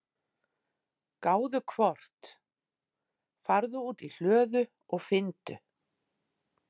gáðu hvort. farðu út í hlöðu og finndu.